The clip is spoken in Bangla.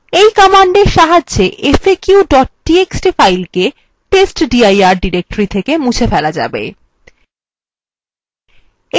এই command সাহায্যে faq txt file কে/testdir directory থেকে মুছে ফেলা যাবে